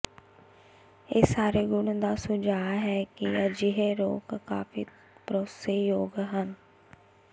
ਇਹ ਸਾਰੇ ਗੁਣ ਦਾ ਸੁਝਾਅ ਹੈ ਕਿ ਅਜਿਹੇ ਰੋਕ ਕਾਫ਼ੀ ਭਰੋਸੇਯੋਗ ਹਨ